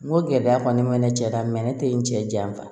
N ko gɛlɛya kɔni bɛ ne cɛ la ne tɛ n cɛ janfa